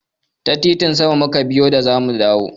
Ta titin sama mu ka biyo da za mu dawo.